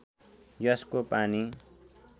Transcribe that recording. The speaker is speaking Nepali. यसको पानी